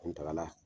An tagara